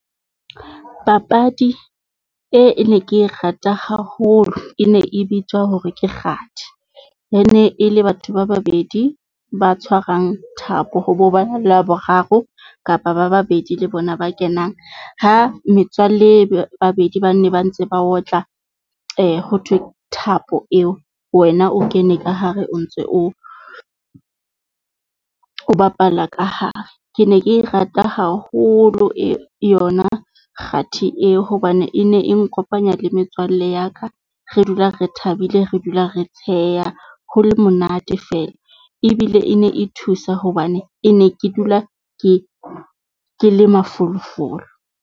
Papadi e, e ne ke e rata haholo. E ne e bitswa hore Ke kgathi, e ne e le batho ba babedi ba tshwarang thapo ho bo bana le wa boraro, kapa ba babedi le bona ba kenang ha metswalle ba babedi bane ba ntse ba otla ho thwe thapo eo. Wena o kene ka hare o ntse o, o bapala ka hare. Ke ne ke e rata haholo e yona kgathi eo hobane e ne e nkopanya le metswalle ya ka. Re dula re thabile, re dula re tsheya ho le monate feela. ebile e ne e thusa, hobane e ne ke dula ke ke le mafolofolo.